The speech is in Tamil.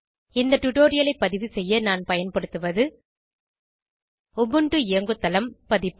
இந்த டுடோரியலை பதிவு செய்ய நான் பயன்படுத்துவது உபுண்டு இயங்குதளம் பதிப்பு